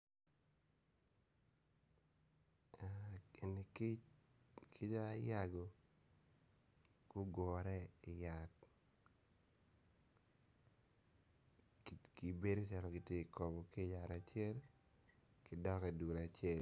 Eni kic, kic ayago gugure iyat kibedo calo gitye kakobo ki yat acel gidok idul acel